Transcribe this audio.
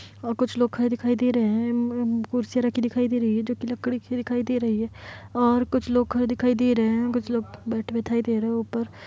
और कुछ लोग खड़े दिखाई दे रहे है उम्म्म कुर्सियां रखी दिखाई दे रही है जो कि लकड़ी की दिखाई दे रही है और कुछ लोग खड़े दिखाई दे रहे है कुछ लोग बैठे दिखाई दे रहे है ऊपर ।